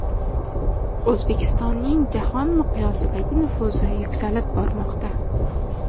O‘zbekistonning jahon miqyosidagi nufuzi yuksalib bormoqda.